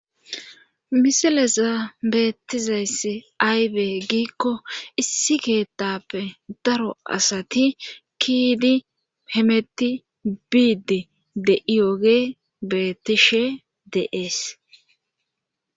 misilezan beettizayss aybe giikko issi keettappe daro asati kiyidii hemeti biidi de'iyoogey beettishe de'ees